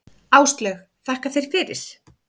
Áslaug: Þakka þér fyrir.